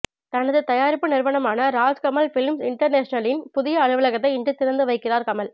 தனது தயாரிப்பு நிறுவனமான ராஜ் கமல் பிலிம்ஸ் இன்டர்நேஷனலின் புதிய அலுவலகத்தை இன்று திறந்து வைக்கிறார் கமல்